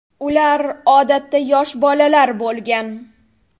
Ular, odatda, yosh bolalar bo‘lgan.